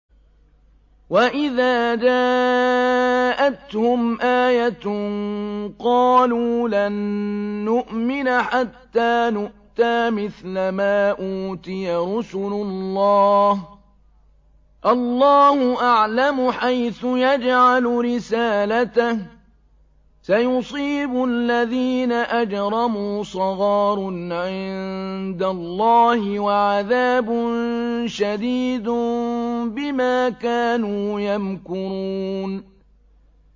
وَإِذَا جَاءَتْهُمْ آيَةٌ قَالُوا لَن نُّؤْمِنَ حَتَّىٰ نُؤْتَىٰ مِثْلَ مَا أُوتِيَ رُسُلُ اللَّهِ ۘ اللَّهُ أَعْلَمُ حَيْثُ يَجْعَلُ رِسَالَتَهُ ۗ سَيُصِيبُ الَّذِينَ أَجْرَمُوا صَغَارٌ عِندَ اللَّهِ وَعَذَابٌ شَدِيدٌ بِمَا كَانُوا يَمْكُرُونَ